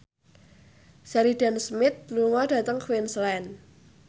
Sheridan Smith lunga dhateng Queensland